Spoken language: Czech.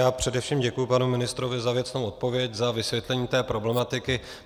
Já především děkuji panu ministrovi za věcnou odpověď, za vysvětlení té problematiky.